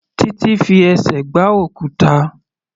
Titi fi ẹsẹ̀ gbá òkúta.